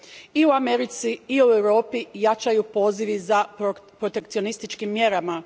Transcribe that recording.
I u Americi i u Europi jačaju pozivi za protekcionističkim mjerama.